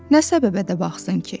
Nə səbəbə də baxsın ki?